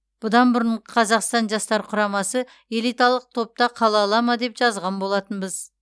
бұдан бұрын қазақстан жастар құрамасы элиталық топта қала ала ма деп жазған болатынбыз